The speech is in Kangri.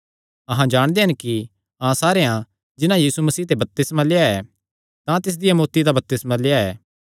अहां जाणदे हन कि अहां सारेयां जिन्हां यीशु मसीह दा बपतिस्मा लेआ ऐ तां तिसदिया मौत्ती दा बपतिस्मा लेआ